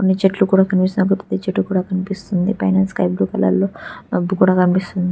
కొన్ని చెట్లు కూడా కనిపిస్తున్నాయి ఒక పెద్ద చెట్టు కూడా కనిపిస్తుంది పైన స్కై బ్లూ కలర్ లో మబ్బు కూడా కనిపిస్తుంది